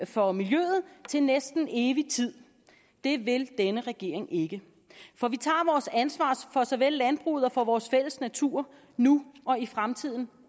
for miljøet til næsten evig tid det vil denne regering ikke for vi tager vores ansvar for såvel landbruget som for vores fælles natur nu og i fremtiden